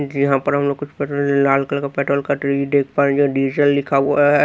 इस लिए यहां पर हम पेट्रोल लाल कलर का पेट्रोल देख पाएंगे डीजल लिखा हुआ है।